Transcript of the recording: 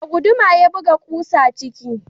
Da guduma ya buga ƙusa ciki